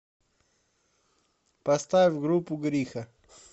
поставь группу гриха